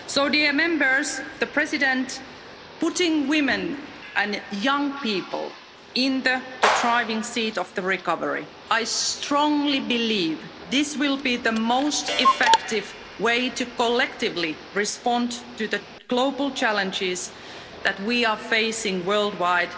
Mr President, putting women and young people in the driving seat of the recovery I strongly believe this will be the most effective way to collectively respond to the global challenges that we are facing worldwide